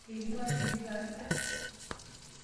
Eilepa tikit alda.